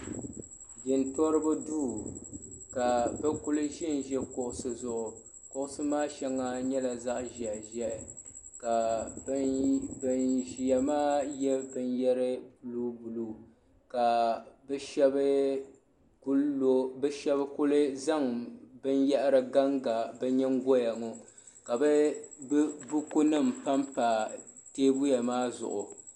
Jintoriba duu ka bɛ kuli ʒi n-ʒi kuɣusi zuɣu kuɣusi maa shɛŋa nyɛla zaɣ'ʒɛhiʒɛhi ka ban ʒiya maa shɛba ye binyɛr'buluubuluu ka bɛ shɛba kuli zaŋ binyɛhiri ganga bɛ nyingɔya ŋɔ ka bukunima pa m-pa teebuya maa zuɣu.